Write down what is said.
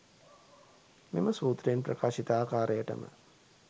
මෙම සූත්‍රයෙන් ප්‍රකාශිත ආකාරයටම